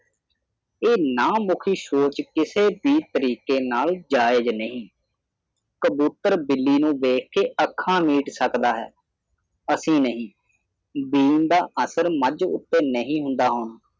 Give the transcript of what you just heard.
ਇਹ ਨਾ ਮੁਖੀ ਸੋਚ ਕਿਸੇ ਵੀ ਤਰੀਕੇ ਦੇ ਨਾਲ ਜਾਇਜ਼ ਨਹੀਂ ਕਬੂਤਰ ਬਿੱਲੀ ਨੂੰ ਦੇਖ ਕੇ ਅੱਖਾਂ ਮੀਚ ਸਕਦਾ ਹੈ ਅਸੀਂ ਨਹੀਂ ਬੀਨ ਦਾ ਅਸਰ ਮਜ ਦੇ ਉੱਤੇ ਨਹੀਂ ਹੁੰਦਾ ਹੁਣ